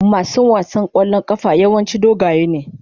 Mason wasan kwallon kafa yawanci dogaye ne.